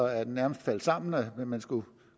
at den nærmest faldt sammen da man skulle